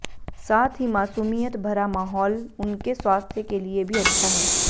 साथ ही मासूमियत भरा माहौल उनके स्वास्थ्य के लिए भी अच्छा है